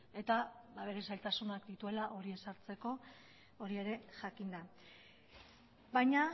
eta bere zailtasunak dituela hori ezartzeko hori ere jakinda baina